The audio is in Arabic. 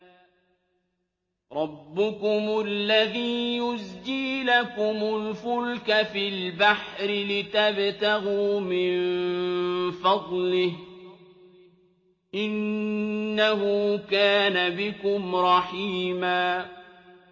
رَّبُّكُمُ الَّذِي يُزْجِي لَكُمُ الْفُلْكَ فِي الْبَحْرِ لِتَبْتَغُوا مِن فَضْلِهِ ۚ إِنَّهُ كَانَ بِكُمْ رَحِيمًا